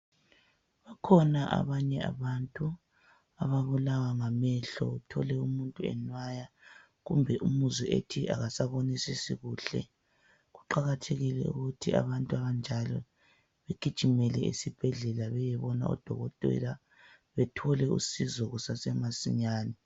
Bakhona abanye abantu ababulawa ngamehlo .Uthole umuntu enwaya kumbe umuzwe ethi akasabonisisi kuhle . Kuqakathekile ukuthi abantu abanjalo begijimele esibhedlela beyebona odokotela. Bethole usizo kusasemasinyane.